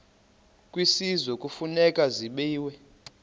kwisizwe kufuneka zabiwe